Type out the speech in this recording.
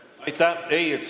Aitäh!